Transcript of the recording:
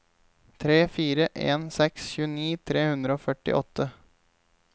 tre fire en seks tjueni tre hundre og førtiåtte